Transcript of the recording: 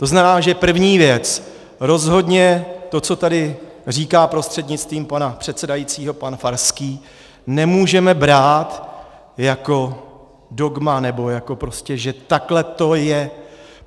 To znamená, že první věc: Rozhodně to, co tady říká prostřednictvím pana předsedajícího pan Farský, nemůžeme brát jako dogma nebo jako prostě, že takhle to je.